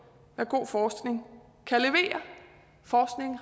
hvad god forskning